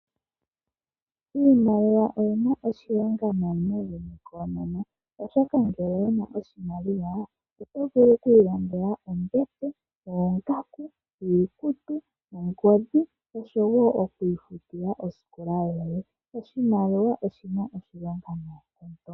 Iimaliwa oyina oshilonga muuyuni koonono oshoka ngele owuna oshimaliwa oto vulu okwiilandela ombete, oongaku, iikutu, ongodhi noshowo okwiifutila oskola yoye. Oshimaliwa oshina oshilonga noonkondo.